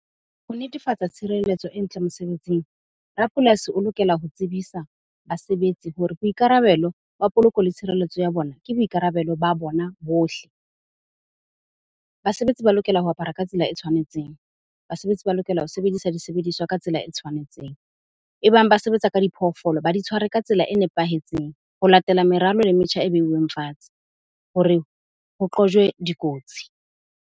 Ho netefatsa tshireletso e ntle mosebetsing, rapolasi o lokela ho tsebisa basebetsi hore boikarabelo ba poloko le tshireletso ya bona, ke boikarabelo ba bona bohle. Basebetsi ba lokela ho apara ka tsela e tshwanetseng. Basebetsi ba lokela ho sebedisa disebediswa ka tsela e tshwanetseng. Ebang ba sebetsa ka diphoofolo, ba di tshware ka tsela e nepahetseng ho latela meralo le metjha e beuweng fatshe hore ho qojwe dikotsi.